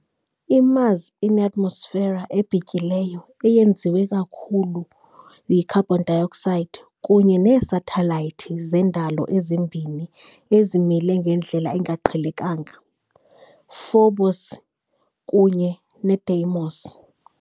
IMars ineatmosfera ebhityileyo eyenziwe ikakhulu yicarbon dioxide kunye neesathelayithi zendalo ezimbini ezimile ngendlela engaqhelekanga - Phobos kunye neDeimos .